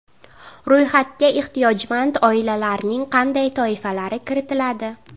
Ro‘yxatga ehtiyojmand oilalarning qanday toifalari kiritiladi?